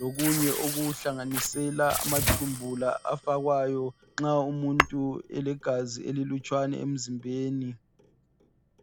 lokunye okuhlanganisela amathumbu la afakwayo nxa umuntu elegazi elilutshwane emzimbeni.